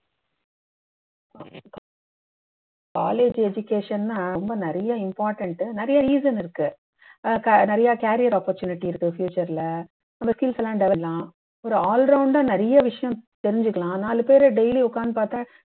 college education ன்னா ரொம்ப நிறைய important உ நிறைய reason இருக்கு அ அஹ் நிறைய career opportunity இருக்கு future ல பண்ணலாம் ஒரு all round ஆ நிறைய விஷயம் தெரிஞ்சுக்கலாம் நாலு பேர daily உக்காந்து பாத்தா